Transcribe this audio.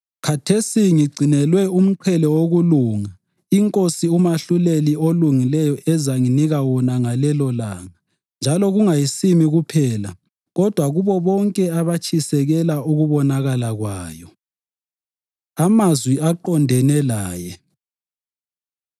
Khathesi ngigcinelwe umqhele wokulunga iNkosi uMahluleli olungileyo ezanginika wona ngalelolanga njalo kungayisimi kuphela kodwa kubo bonke abatshisekela ukubonakala kwayo. Amazwi Aqondene Laye